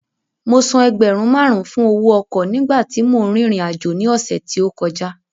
Mo san ẹgbẹ̀rún márùn-ún fún owó ọkọ̀ nígbà tí mò ń rìnrìn àjò ní ọ̀sẹ̀ tí ó kọjá